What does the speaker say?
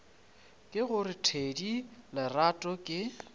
ke gore thedi lerato ke